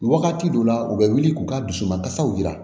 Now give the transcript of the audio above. Wagati dɔw la u bɛ wuli k'u ka dusu ma kasaw jira